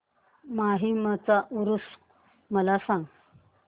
माहीमचा ऊरुस मला सांग